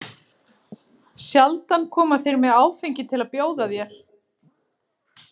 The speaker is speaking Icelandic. Sjaldan koma þeir með áfengi til að bjóða þér.